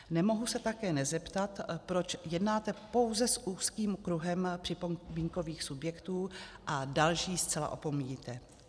Nemohu se také nezeptat, proč jednáte pouze z úzkým kruhem připomínkových subjektů a další zcela opomíjíte.